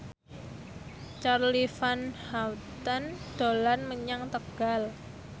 Charly Van Houten dolan menyang Tegal